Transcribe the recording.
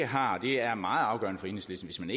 har og det er meget afgørende for enhedslisten